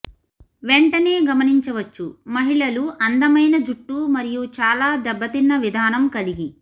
వెంటనే గమనించవచ్చు మహిళలు అందమైన జుట్టు మరియు చాలా దెబ్బతిన్న విధానం కలిగి